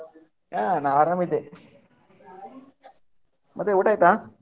ಹಾ, ನಾ ಆರಾಮ್ ಇದ್ದೆ. ಮತ್ತೆ ಊಟ ಆಯ್ತಾ?